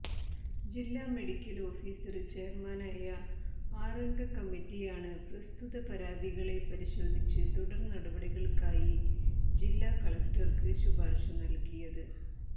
ജില്ലാ medical officer ചെയര്മാനായ ആറംഗ കമ്മിറ്റിയാണ് പ്രസ്തുത പരാതികളെ പരിശോധിച്ച് തുടര് നടപടികള്ക്കായി ജില്ലാ കളക്ടര്ക്ക് ശുപാര്ശ നല്കിയത്